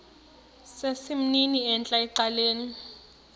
sesimnini entla ecaleni